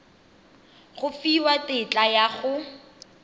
go fiwa tetla ya go